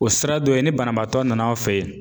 O sira dɔ ye ni banabaatɔ nan'aw fɛ yen